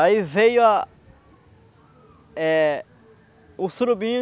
Aí veio a eh o surubim